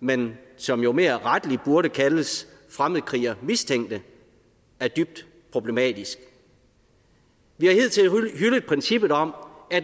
men som jo mere rettelig burde kaldes fremmedkrigermistænkte er dybt problematisk vi har hidtil hyldet princippet om at